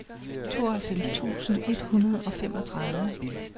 tooghalvfems tusind et hundrede og femogtredive